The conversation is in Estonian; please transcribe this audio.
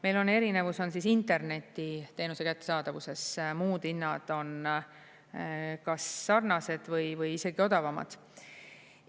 Meil on erinevus internetiteenuse kättesaadavuses, muud hinnad on kas sarnased või isegi odavamad.